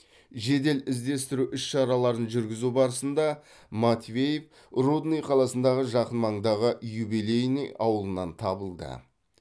жедел іздестіру іс шараларын жүргізу барысында матвеев рудный қаласындағы жақын маңдағы юбилейный ауылынан табылды